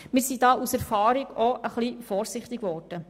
Wir sind aus Erfahrung etwas vorsichtig geworden.